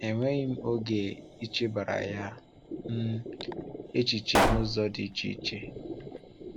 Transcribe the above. Enweghị m oge ichebara ya um echiche n’ụzọ dị iche iche.